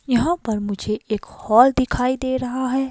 यहां पर मुझे एक हॉल दिखाई दे रहा है।